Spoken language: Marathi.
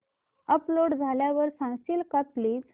अपलोड झाल्यावर सांगशील का प्लीज